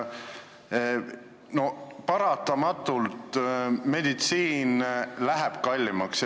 Paratamatult meditsiin läheb kallimaks.